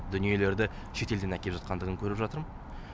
дүниелерді шетелден әкеліп жатқандығын көріп жатырмын